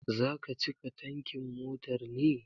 Zaka cika tankin motar ne?